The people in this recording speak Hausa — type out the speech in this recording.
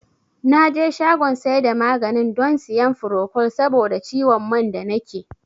Naje shagon saida maganin don siyan furokol saboda ciwon man da nake